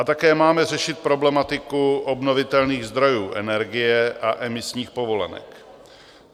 A také máme řešit problematiku obnovitelných zdrojů energie a emisních povolenek.